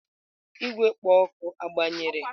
Igwe kpo oku agbanyere?